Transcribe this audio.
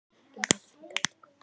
En sjálfur kom hann ekki nær.